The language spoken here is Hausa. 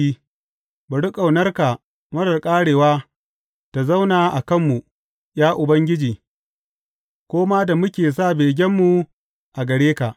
Bari ƙaunarka marar ƙarewa ta zauna a kanmu, ya Ubangiji, ko ma da muke sa begenmu a gare ka.